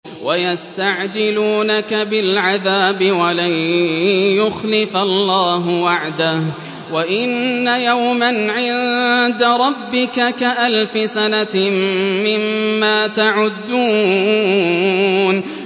وَيَسْتَعْجِلُونَكَ بِالْعَذَابِ وَلَن يُخْلِفَ اللَّهُ وَعْدَهُ ۚ وَإِنَّ يَوْمًا عِندَ رَبِّكَ كَأَلْفِ سَنَةٍ مِّمَّا تَعُدُّونَ